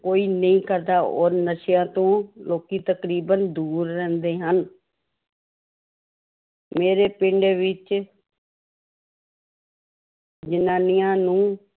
ਕੋਈ ਨਹੀਂ ਕਰਦਾ ਔਰ ਨਸ਼ਿਆਂ ਤੋਂ ਲੋਕੀ ਤਕਰੀਬਨ ਦੂਰ ਰਹਿੰਦੇ ਹਨ ਮੇਰੇ ਪਿੰਡ ਵਿੱਚ ਜ਼ਨਾਨੀਆਂ ਨੂੰ